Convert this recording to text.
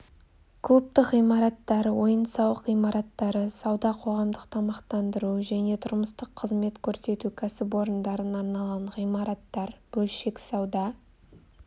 клубтық ғимараттар ойын-сауық ғимараттары сауда қоғамдық тамақтандыру және тұрмыстық қызмет көрсету кәсіпорындарына арналған ғимараттар бөлшек сауда